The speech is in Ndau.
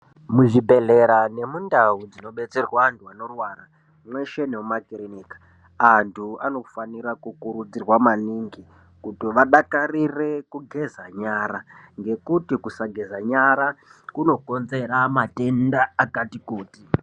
Muzvibhedhlera nemundau dzinobetserwa anhu anorwara, mweshe nemumakiriniki, anhu anofanira kukurudzirwa maningi kuti wadakarire kugeza nyara, ngekuti kusageza nyara, kunokonzera matenda akati kuti.